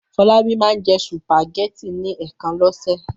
Fọlábí máa ń jẹ sùpàgẹ́tì ní ẹ̀ẹ̀kan lọ́sẹ̀.